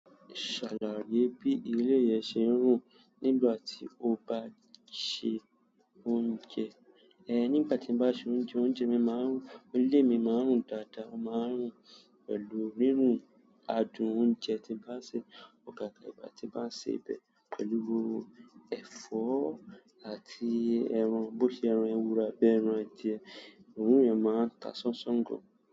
Ṣàlàyé bí ilé rẹ ṣe ń rùn nígbà tí o bá ṣe oúnjẹ. Ẹ̀ẹ̀, nígbà tí mo bá ṣe oúnjẹ, oúnjẹ mi máa ń rùn, ilé mi máa ń rùn dáadáa. Ó máa ń rùn pẹ̀lú òórùn adùn oúnjẹ tí mo bá ṣe, àgàgà ìgbà tí mo bá ṣe ọbẹ̀ pẹ̀lú ẹ̀fọ́. Àti ẹran, bó ṣe ẹran ewúrẹ́ àbí ẹran adìẹ, òórùn yẹn máa ń ta ṣánṣán gan.